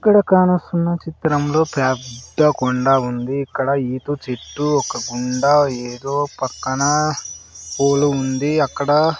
ఇక్కడ కానస్తున్నా చిత్రంలో పేద్ద కొండ ఉంది ఇక్కడ ఈత చెట్టు ఒక కుండా ఏదో పక్కన పూలు ఉంది అక్కడ.